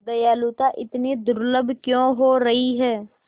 दयालुता इतनी दुर्लभ क्यों हो रही है